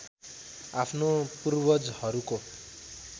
आफ्नो पूर्वजहरूको